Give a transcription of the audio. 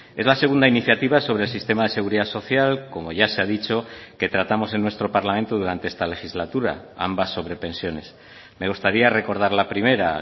es la segunda iniciativa sobre el sistema de seguridad social como ya se ha dicho que tratamos en nuestro parlamento durante esta legislatura ambas sobre pensiones me gustaría recordar la primera